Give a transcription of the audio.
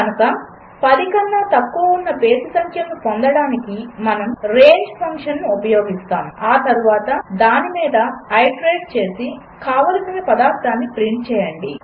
కనుక 10 కన్నా తక్కువ ఉన్న బేసి సంఖ్యలను పొందడానికి మనము రేంజ్ ఫంక్షన్ను ఉపయోగిస్తాము ఆ తర్వాత దాని మీద ఐటరేట్ చేసి కావలసిన పదార్ధాన్ని ప్రింట్ చేయండి